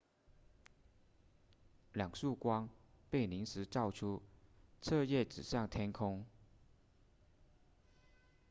两束光被临时造出彻夜指向天空